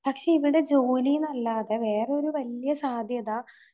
പക്ഷെ ഇവർടെ ജോലീന്നല്ലാതെ വേറൊരു വല്യ സാധ്യത